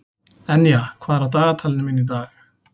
Enja, hvað er á dagatalinu mínu í dag?